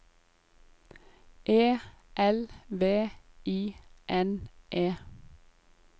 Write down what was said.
E L V I N E